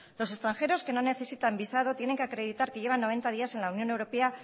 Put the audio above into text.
los extranjeros que no necesitan visado tienen que acreditar que llevan noventa días en la unión europea